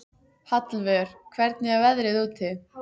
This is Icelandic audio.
Hallvör, hvernig er veðrið úti?